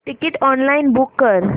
ticket online book कर